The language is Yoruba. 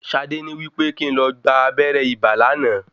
Ṣadé ní wípé kín n lo gba abẹrẹ ibà lánàá.